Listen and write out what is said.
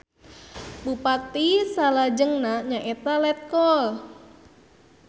Bupati salajengna nyaeta Letkol.